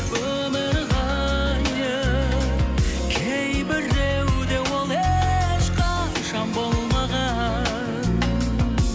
өмір ғайып кейбіреуде ол ешқашан болмаған